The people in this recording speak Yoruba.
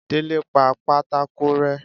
délé pá pàtàkó rẹ